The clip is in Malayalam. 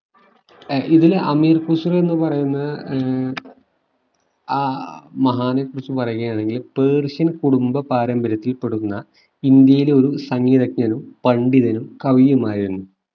ഇതിൽ അമീർ ഖുസ്‌റോ എന്ന് പറയുന്ന ഏർ ആഹ് മഹാനെക്കുറിച്ചു പറയുകയാണെങ്കില് persian കുടുംബ പാരമ്പര്യത്തിൽപ്പെടുന്ന ഇന്ത്യയിലെ ഒരു സംഗീതജ്ഞനും പണ്ഢിതനും കവിയുമായിരുന്നു